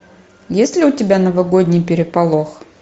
есть ли у тебя новогодний переполох